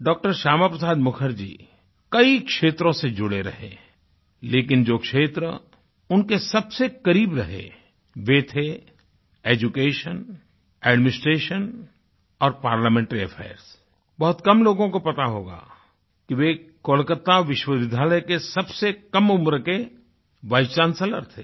डॉ० श्यामा प्रसाद मुखर्जी कई क्षेत्रों से जुड़े रहे लेकिन जो क्षेत्र उनके सबसे करीब रहे वे थे एड्यूकेशन एडमिनिस्ट्रेशन और पार्लमेंट्री affairsबहुत कम लोगों को पता होगा कि वे कोलकाता विश्वविद्यालय के सबसे कम उम्र के वाइस चांसेलर थे